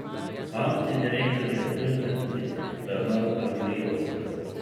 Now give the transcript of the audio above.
Bančni direktor je z uslužbenci ravnal grozljivo.